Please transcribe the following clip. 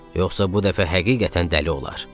Yoxsa bu dəfə həqiqətən dəli olar.